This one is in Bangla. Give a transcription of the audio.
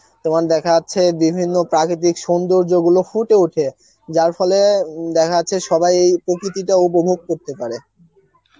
তোমার দেখা যাচ্ছে বিভিন্ন প্রাকৃতিক সৌন্দর্যগুলো ফুটে ওঠে যার ফলে উম দেখা যাচ্ছে সবাই এই প্রকৃতিটা উপভোগ করতে পারে